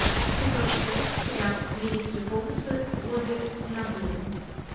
сезон шесть сериал великие помыслы оды нобуны